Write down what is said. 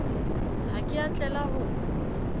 ha ke a tlela ho